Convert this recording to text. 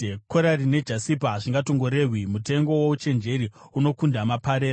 Korari nejasipa hazvingatongorehwi; mutengo wouchenjeri unokunda maparera.